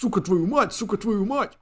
сука твою мать сука твою мать